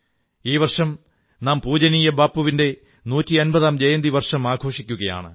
ഈ വർഷം നാം പൂജനീയ ബാപ്പുവിന്റെ നൂറ്റമ്പതാം ജയന്തി വർഷം ആഘോഷിക്കുകയാണ്